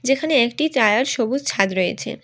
যেখানে একটি তায়ার সবুজ ছাদ রয়েছে।